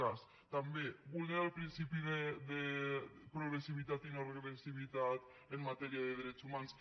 cas també vulnera el principi de progressivitat i no regressivitat en matèria de drets humans